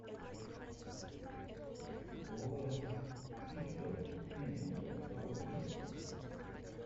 лоренс фишберн фильм у тебя в каталоге есть